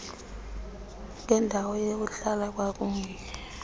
ngendawo yokuhlala kwakunye